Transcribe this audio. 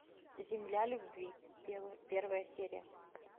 земля любви первая серия